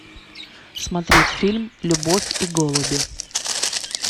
смотреть фильм любовь и голуби